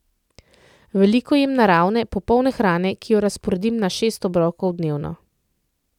Veliko jem naravne, popolne hrane, ki jo razporedim na šest obrokov dnevno.